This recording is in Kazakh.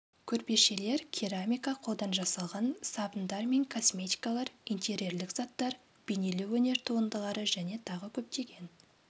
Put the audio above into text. көрпешелер керамика қолдан жасалған сабындар мен косметикалар интерьерлік заттар бейнелеу өнер туындылары және тағы көптеген